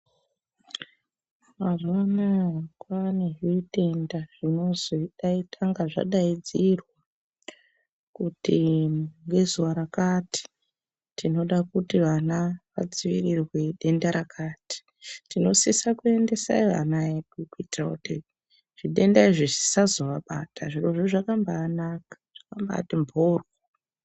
Mazuwa ana kwaane zvitenda zvinozotanga zvadaidzirwa kuti ngezuwa rakati tinoda kuti vana vadziirirwe denda rakati tinosise kuendesa ana edu kuitire kuti zvidenda izvi zvisazovabata zvirozvo zvakambaanaka zvakambati mporyo.